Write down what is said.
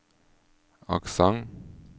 aksent